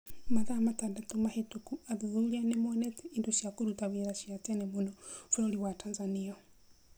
Mathaa matandatũ mahĩtũku athuthuria nĩ monete indo cia kũruta wĩra cia tene mũno bũrũri wa Tanzania.